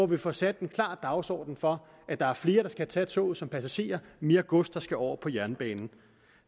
vi får sat en klar dagsorden for at der er flere der skal tage toget som passagerer og mere gods der skal over på jernbanen